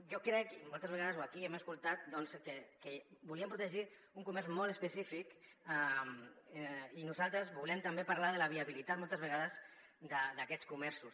jo crec i moltes vegades aquí hem escoltat que volíem protegir un comerç molt específic i nosaltres volem també parlar de la viabilitat moltes vegades d’aquests comerços